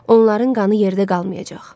Onların qanı yerdə qalmayacaq.